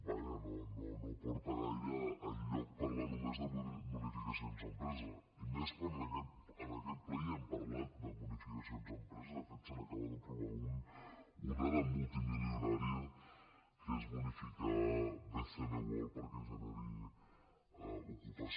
vaja no porta gaire enlloc parlar només de bonificacions a empreses i més quan en aquest ple ja hem parlat de bonificacions a empreses de fet se n’acaba d’aprovar una de multimilionària que és bonificar bcn world perquè generi ocupació